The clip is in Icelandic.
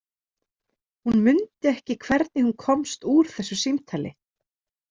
Hún mundi ekki hvernig hún komst úr þessu símtali.